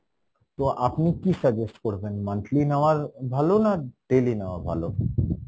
তো আপনি কী suggest করবেন, monthly নেওয়ার ভালো না daily নেওয়া ভালো?